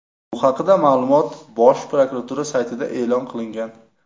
Bu haqdagi ma’lumot Bosh prokuratura saytida e’lon qilingan .